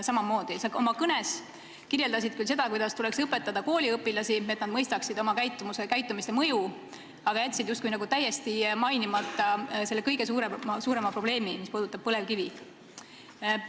Sa oma kõnes küll rääkisid, kuidas tuleks õpetada kooliõpilasi, et nad mõistaksid oma käitumise mõju, aga jätsid täiesti mainimata meie kõige suurema probleemi ehk põlevkivi.